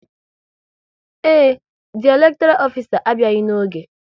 Ee, ndị elektoral ofisa a abịaghị n'oge